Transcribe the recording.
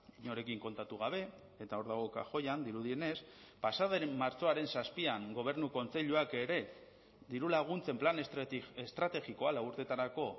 inorekin kontatu gabe eta hor dago kajoian dirudienez pasa den martxoaren zazpian gobernu kontseiluak ere dirulaguntzen plan estrategikoa lau urteetarako